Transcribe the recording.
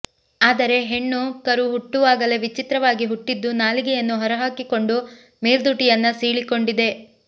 ಆದರೆ ಹೆಣ್ಣು ಕರು ಹುಟ್ಟುವಾಗಲೇ ವಿಚಿತ್ರವಾಗಿ ಹುಟ್ಟಿದ್ದು ನಾಲಿಗೆಯನ್ನು ಹೊರಹಾಕಿಕೊಂಡು ಮೇಲ್ದುಟಿಯನ್ನ ಸೀಳಿಕೊಂಡಿದೆ